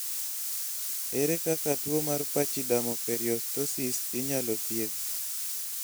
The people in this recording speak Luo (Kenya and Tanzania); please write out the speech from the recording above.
ere kaka tuwo mar pachydermoperiostosis inyalo thiedh?